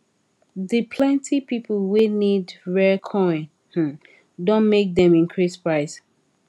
d plenti people wey need rare coin um don make dem increase price